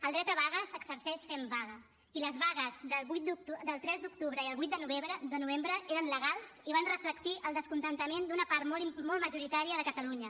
el dret de vaga s’exerceix fent vaga i les vagues del tres d’octubre i el vuit de novembre eren legals i van reflectir el descontentament d’una part molt majoritària de catalunya